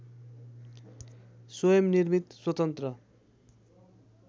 स्वयं निर्मित स्वतन्त्र